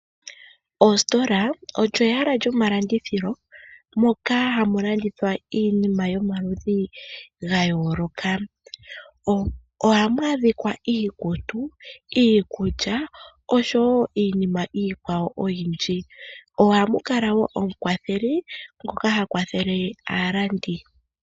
Oositola olyo ehala lyo malandithilo moka hamu landithwa iinima yomaludhi ga yooloka, ohamu adhika iikutu, iikulya, oshowo iinima iikwawo oyindji. Ohamu kala woo omukwatheli ngoka ha kwathele aalandi.